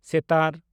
ᱥᱮᱛᱟᱨ